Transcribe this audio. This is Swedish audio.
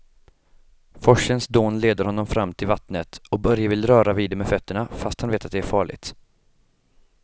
Forsens dån leder honom fram till vattnet och Börje vill röra vid det med fötterna, fast han vet att det är farligt.